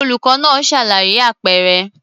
Olùkọ́ náà ṣàlàyé àpẹẹrẹ.